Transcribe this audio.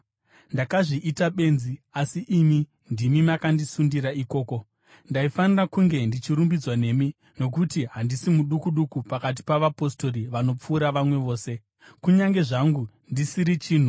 Ndakazviita benzi, asi imi ndimi makandisundira ikoko. Ndaifanira kunge ndichirumbidzwa nemi, nokuti handisi muduku duku pakati pa“vapostori vanopfuura vamwe vose,” kunyange zvangu ndisiri chinhu.